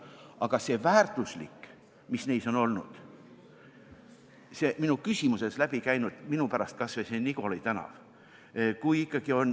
Aga minu pärast võtame kas või selle minu küsimusest läbi käinud Nigoli tänava.